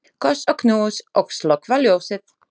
Koss og knús og slökkva ljósið.